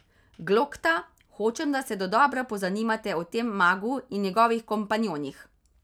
Glokta, hočem, da se dodobra pozanimate o tem magu in njegovih kompanjonih.